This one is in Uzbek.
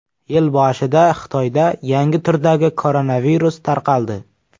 Yil boshida Xitoyda yangi turdagi koronavirus tarqaldi.